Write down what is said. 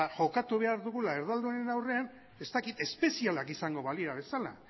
jokatu behar dugula erdaldunen aurrean espezialak izango balira bezala